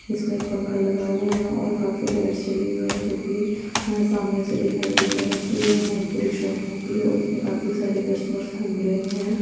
इसमे एक पंखा लगा हुआ है और काफी लाइट्स जली हुई है जो की यह सामने से दिखाई दे रहा है की यह बहोत बड़ी शॉप होगी और इसमे काफी सारे कस्टमर गुम रहे है।